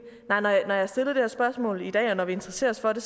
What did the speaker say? når jeg stiller det her spørgsmål i dag og når vi interesserer os for det